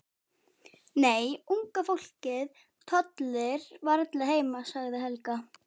Nei, unga fólkið tollir varla heima sagði Helga.